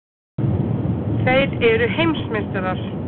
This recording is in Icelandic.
Þeir eru heimsmeistarar!!!